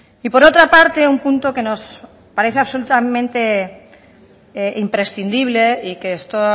y por otra parte un punto que nos parece absolutamente imprescindible y que esto